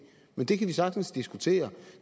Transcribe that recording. men det kan vi sagtens diskutere